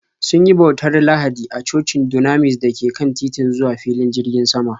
Sun yi bautar Lahadi a cocin Dunamis da ke kan titin zuwa filin jirgin sama.